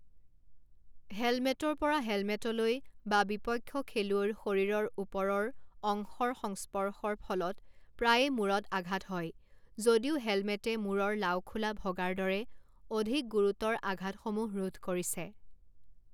হেলমেটৰ পৰা হেলমেটলৈ বা বিপক্ষ খেলুৱৈৰ শৰীৰৰ ওপৰৰ অংশৰ সংস্পৰ্শৰ ফলত প্ৰায়ে মূৰত আঘাত হয়, যদিও হেলমেটে মূৰৰ লাওখোলা ভগাৰ দৰে অধিক গুৰুতৰ আঘাতসমূহ ৰোধ কৰিছে।